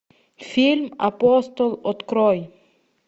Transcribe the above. фильм апостол открой